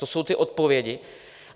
To jsou ty odpovědi?